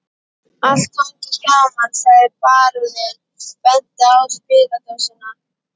Allt hangir saman, sagði baróninn og benti á spiladósina